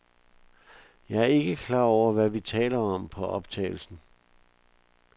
Jeg er ikke klar over, hvad vi taler om på optagelsen.